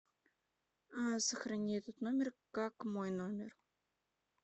сохрани этот номер как мой номер